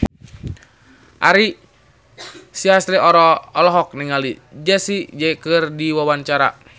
Ari Sihasale olohok ningali Jessie J keur diwawancara